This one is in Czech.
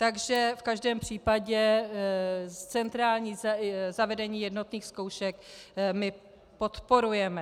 Takže v každém případě centrální zavedení jednotných zkoušek my podporujeme.